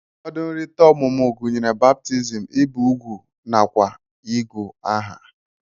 Ụfọdụ nrita ọmụmụ gunyere baptizim, ibu ugwu nakwa igu aha.